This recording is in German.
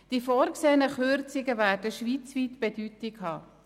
Die vorgesehenen Kürzungen werden schweizweit von Bedeutung sein.